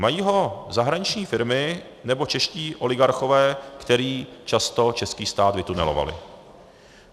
Mají ho zahraniční firmy nebo čeští oligarchové, kteří často český stát vytunelovali.